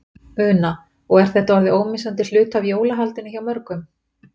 Una: Og er þetta orðið ómissandi hluti af jólahaldinu hjá mörgum?